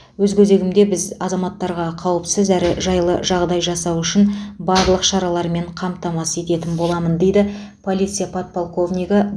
өз көзегімізде біз азаматтарға қауіпсіз әрі жайлы жағдай жасау үшін барлық шаралармен қамтамасыз ететін боламыз дейді полиция подполковнигі